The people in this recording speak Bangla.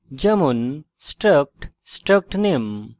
যেমন struct struct name;